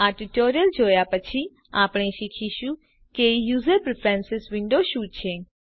આ ટ્યુટોરીયલ જોયા પછી આપણે શીખીશું કે યુઝર પ્રીફ્રેન્સીસ વિન્ડો શું છે